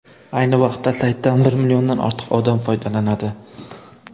Ayni vaqtda saytdan bir milliondan ortiq odam foydalanadi.